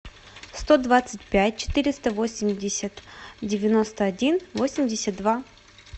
сто двадцать пять четыреста восемьдесят девяносто один восемьдесят два